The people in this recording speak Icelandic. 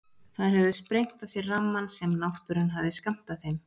Þær höfðu sprengt af sér rammann sem náttúran hafði skammtað þeim.